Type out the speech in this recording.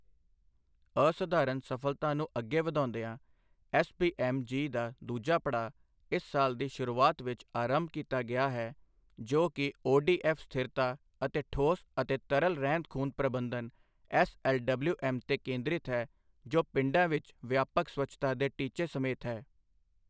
ਅਸਧਾਰਨ ਸਫਲਤਾ ਨੂੰ ਅੱਗੇ ਵਧਾਉਂਦਿਆਂ, ਐਸਬੀਐਮ ਜੀ ਦਾ ਦੂਜਾ ਪੜਾਅ ਇਸ ਸਾਲ ਦੀ ਸ਼ੁਰੂਆਤ ਵਿੱਚ ਅਰੰਭ ਕੀਤਾ ਗਿਆ ਹੈ, ਜੋ ਕਿ ਓਡੀਐਫ ਸਥਿਰਤਾ ਅਤੇ ਠੋਸ ਅਤੇ ਤਰਲ ਰਹਿੰਦ ਖੂੰਹਦ ਪ੍ਰਬੰਧਨ ਐਸਐਲਡਬਲਯੂਐਮ ਤੇ ਕੇਂਦ੍ਰਤ ਹੈ ਜੋ ਪਿੰਡਾਂ ਵਿੱਚ ਵਿਆਪਕ ਸਵੱਛਤਾ ਦੇ ਟੀਚੇ ਸਮੇਤ ਹੈ।